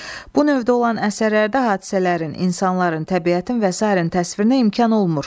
Bu növdə olan əsərlərdə hadisələrin, insanların, təbiətin və sairənin təsvirinə imkan olmur.